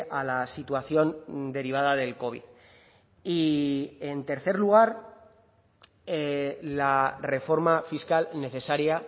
a la situación derivada del covid y en tercer lugar la reforma fiscal necesaria